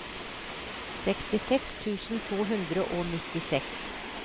sekstiseks tusen to hundre og nittiseks